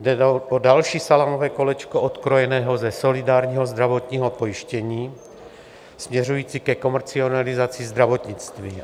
Jde o další salámové kolečko odkrojené ze solidárního zdravotního pojištění směřující ke komercializaci zdravotnictví.